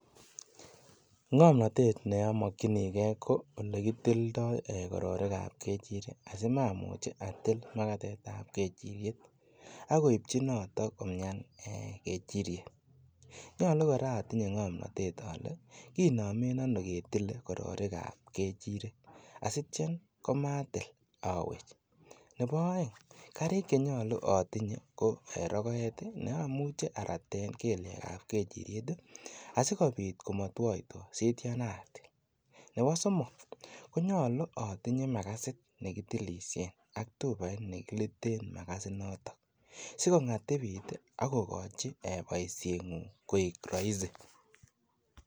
Ngomnotet ne omokwinigee ko olekitildo ee kororikab kechirek asimamuch atil makatetab kejiriet akoibji noton ee komian kejiriet ,nyolu otinyee ngomnotet koraa ole kinome ono ketile kororikab kejirek asitwo komatil owech ,nebo oeng karik chenyolu otinye ko ee rokoet ii neyoche araten keliekab kejiriet ii asikobit komotwoitwo sition atil, nebo somok konyolu otinye makasit ne kitilisien ak tupait ne kitilen makasinoton sikongatibit ii ak kokojin boisiengung koik roisi.